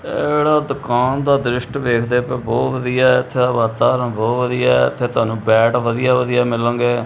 ਇਹ ਜਿਹੜਾ ਦੁਕਾਨ ਦਾ ਦ੍ਰਿਸ਼ਟ ਵੇਖਦੇ ਪਏ ਹੋ ਬਹੁਤ ਵਧੀਆ ਹੈ ਇੱਥੇ ਦਾ ਵਾਤਾਵਰਣ ਬਹੁਤ ਵਧੀਆ ਹੈ ਇੱਥੇ ਤੁਹਾਨੂੰ ਬੇਡ ਵਧੀਆ ਵਧੀਆ ਮਿਲਣਗੇ।